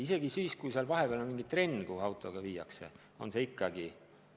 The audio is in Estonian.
Isegi kui seal vahel on mingi trenn, viiakse laps sinna autoga.